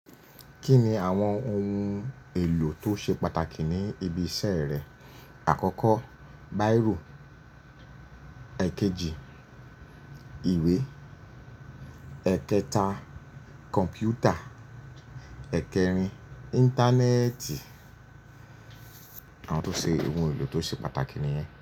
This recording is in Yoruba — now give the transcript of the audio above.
Kí ni àwọn ohun èlò tó ṣe pàtàkì ní ibi iṣẹ́ rẹ? Àkọ́kọ́, bírò. Èkejì, ìwé. Ẹ̀kẹta, kọ̀npútà. Ẹ̀kẹrin, Íńtánẹ́ẹ̀tì. Àwọn tó ṣe ohun èlò tó ṣe pàtàkì nìyẹn.